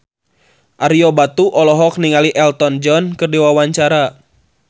Ario Batu olohok ningali Elton John keur diwawancara